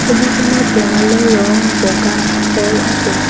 ছবিখনত দেৱালৰ ৰং বগা হৈ আছে।